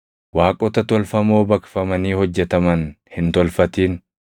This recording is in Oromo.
“Waaqota tolfamoo baqfamanii hojjetaman hin tolfatin.